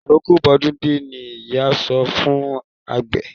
Àroko bọ́dún dé ni ìyá sọ fún àgbẹ̀.